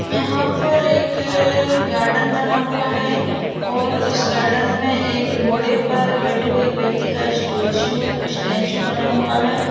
यहाँ पर एक गार्डन बना हुआ है और इस गार्डन में एक घोड़े पर बैठे हुए एक व्यक्ति का स्टोचू स्टेचू बना हुआ है।